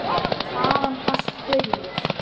Þaðan barst baulið.